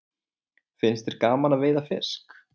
Finnst þér gaman að veiða fisk?